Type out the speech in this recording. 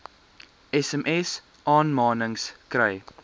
sms aanmanings kry